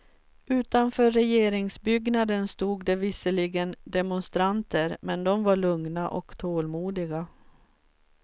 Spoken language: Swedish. Utanför regeringsbyggnaden stod det visserliggen demonstranter, men de var lugna och tålmodiga.